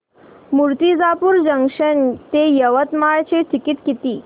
Murtijapur junction ते यवतमाळ चे ticket किती